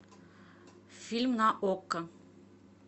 фильм на окко